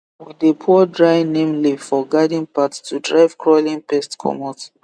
we dey pour dry neem leaf for garden path to drive crawling pest comot